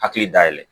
Hakili da yɛlɛ